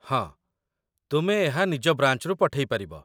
ହଁ, ତୁମେ ଏହା ନିଜ ବ୍ରାଞ୍ଚରୁ ପଠେଇ ପାରିବ